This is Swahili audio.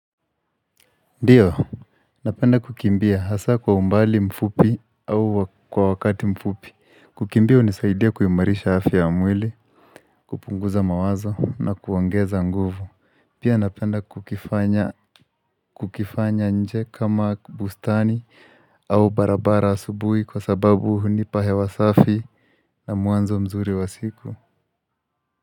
Ndiyo, napenda kukimbia hasa kwa umbali mfupi au kwa wakati mfupi kukimbia hunisaidia kuimarisha afya ya mwili, kupunguza mawazo na kuongeza nguvu Pia napenda kukifanya nje kama bustani au barabara asubui kwa sababu hunipa hewa safi na muanzo mzuri wa siku.